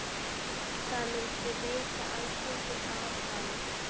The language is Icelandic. Það myndi veita Alþingi aðhald.